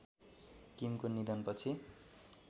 किमको निधनपछि